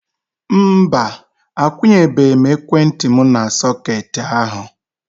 Mba, akwunyebe m ekwentị m n'sọketi ahu